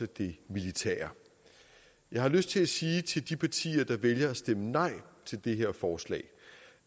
det militære jeg har lyst til at sige til de partier der vælger at stemme nej til det her forslag